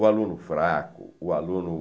O aluno fraco, o aluno